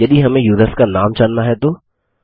यदि हमें युसर्स का नाम जानना है तो160